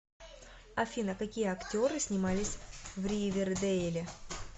афина какие актеры снимались в ривердейле